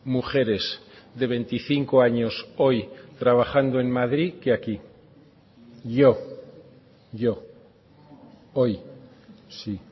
mujeres de veinticinco años hoy trabajando en madrid que aquí yo yo hoy sí